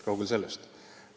Kaugel sellest!